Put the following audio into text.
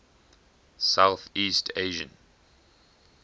south east asian